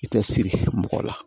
I tɛ siri mɔgɔ la